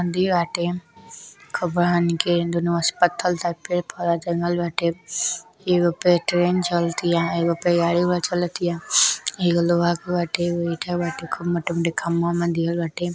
खूब बड़हन के दुनू ओर से पत्थर पड़े-पौधा जंगल बाटे। एगो पे ट्रैन चलतिया एगो पे गाड़ी चलतिया एगो लोहा के बाटे। एगो ईटा बाटे खूब मोटे मोटे खंभा वंभा दिहल बाटे।